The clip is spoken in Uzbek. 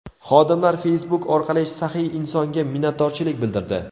Xodimlar Facebook orqali saxiy insonga minnatdorchilik bildirdi.